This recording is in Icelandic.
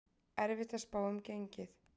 Erfitt að spá um gengið